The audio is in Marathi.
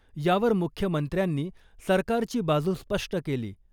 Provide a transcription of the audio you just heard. यावर मुख्यमंत्र्यांनी सरकारची बाजू स्पष्ट केली .